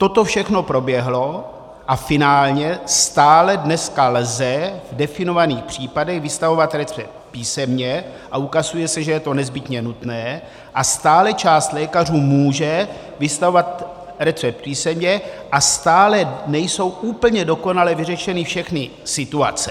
Toto všechno proběhlo a finálně stále dneska lze v definovaných případech vystavovat recept písemně a ukazuje se, že je to nezbytně nutné, a stále část lékařů může vystavovat recept písemně a stále nejsou úplně dokonale vyřešeny všechny situace.